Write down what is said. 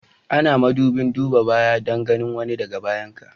Ana madubin duban baya Dan ganin wani da ka bayan ka.